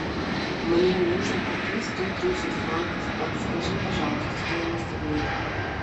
мне нужно купить сто тридцать франков подскажи пожалуйста стоимость обмена